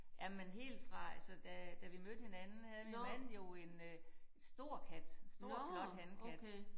Ja men helt fra altså da da vi mødte hinanden havde min mand jo en øh en stor kat stor flot hankat